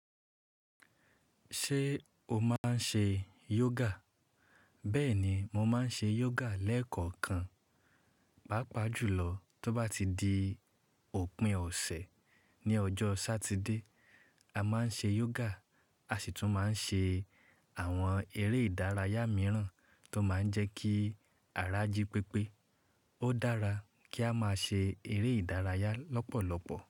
Ṣé o máa ń ṣe yoga? Bẹ́ẹ̀ ni, mo máa ń ṣe yoga lẹ́ẹ̀kọ̀kan. Pápá jùlọ tó bá ti di òpin ọ̀sẹ̀ ní ọjọ́ Sátidé, a máa ń ṣe yoga, a sì tún máa ń ṣe àwọn eré ìdárayá mìíràn tó máa ń jẹ́ kí ara jí pépé. Ó dára kí a máa ṣe eré ìdárayá lọ́pọ̀lọpọ̀.